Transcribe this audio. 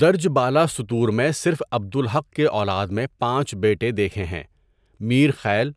درج بالا سطور میں صرف عبد الحق کے اولاد میں پانچ بیٹے دیکھیں ہٖں، میر خیل،